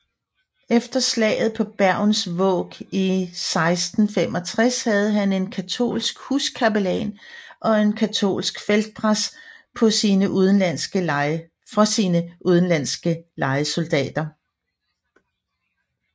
Efter slaget på Bergens Våg i 1665 havde han en katolsk huskapellan og en katolsk feltpræst for sine udenlandske lejesoldater